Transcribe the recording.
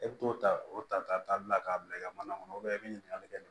E bɛ t'o ta o ta ta bila k'a bila i ka mana kɔnɔ i bɛ ɲininkali kɛ ni